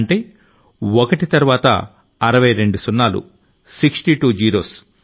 అంటే ఒకటి తర్వాత 62 సున్నాలు 62 జీరోస్